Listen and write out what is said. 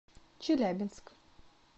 челябинск